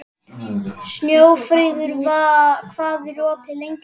Snjófríður, hvað er opið lengi á þriðjudaginn?